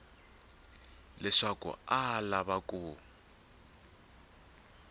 leswaku a a lava ku